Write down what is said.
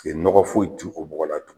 nɔgɔ foyi t'u o bɔgɔ la tugun